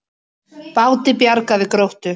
Báti bjargað við Gróttu